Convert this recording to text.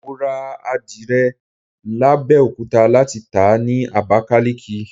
Mo rà àdìrẹ l'Abẹ́òkúta láti tàá ni Abakaliki.